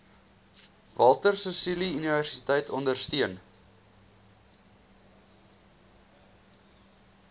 walter sisuluuniversiteit ondersteun